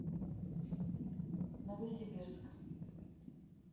новосибирск